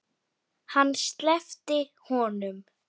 Hann sleppti honum!